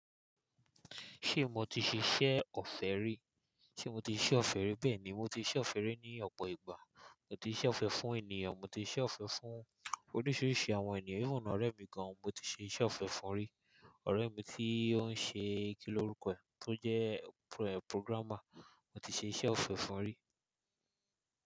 Ṣé mo ti ṣe iṣẹ́ ọ̀fẹ́ rí? Sé mo ti ṣe ọ̀fẹ́ rí bẹ́ẹ̀ ni, mo ti ṣe iṣẹ ọ̀fẹ́ rí ní ọ̀pọ̀ ìgbà. Mo ti ṣe ọ̀fẹ́ fún ènìyàn, mo ti ṣe ọ̀fẹ́ fún oríṣiríṣi àwọn ènìyàn, even ọ̀rẹ́ mi gan, mo ti ṣe iṣẹ́ ọ̀fẹ́ fún rí. Ọ̀rẹ́ mi tí ó ń ṣe kí lorukọ ẹ̀, tó jẹ́ pro-programmer, mo ti ṣe iṣẹ́ ọ̀fẹ́ fún rí.